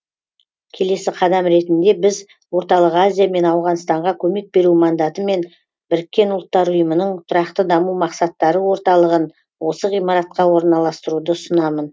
келесі қадам ретінде біз орталық азия мен ауғанстанға көмек беру мандатымен біріккен ұлттар ұйымының тұрақты даму мақсаттары орталығын осы ғимаратқа орналастыруды ұсынамын